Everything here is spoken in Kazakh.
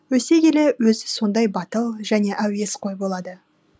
өсе келе өзі сондай батыл және әуесқой болады